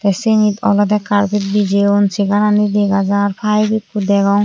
siyenot olodey carpet bijeyon segarani degajar payib ekko degong.